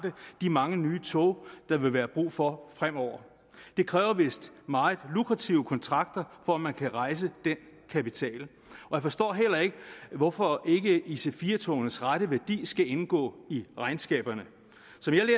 de mange nye tog der vil være brug for fremover det kræver vist meget lukrative kontrakter for at man kan rejse den kapital jeg forstår heller ikke hvorfor ic4 togenes rette værdi ikke skal indgå i regnskaberne